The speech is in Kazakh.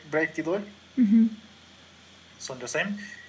брейк дейді ғой мхм соны жасаймын